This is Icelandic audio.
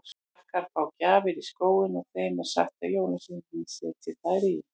Krakkar fá gjafir í skóinn og þeim er sagt að jólasveinarnir setji þær þar.